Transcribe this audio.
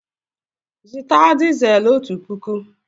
Zụta dizel ọtu pụkụ!